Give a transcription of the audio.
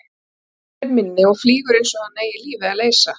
Hinn er minni og flýgur einsog hann eigi lífið að leysa.